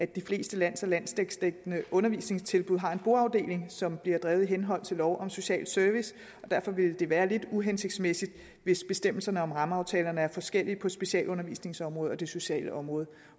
de fleste landsdækkende undervisningstilbud har en boafdeling som bliver drevet i henhold til lov om social service derfor ville det være lidt uhensigtsmæssigt hvis bestemmelserne om rammeaftalerne var forskellige på specialundervisningsområdet og det sociale område